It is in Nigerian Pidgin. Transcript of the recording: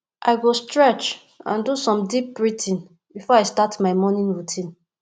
i go stretch and do some deep breathing before i start my morning routine